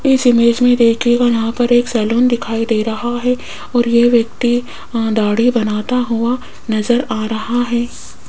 इस इमेज में दिखेगा यहां पर एक सैलून दिखाई दे रहा है और ये व्यक्ति दाढ़ी बनाता हुआ नजर आ रहा है।